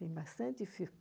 Tem bastante filme.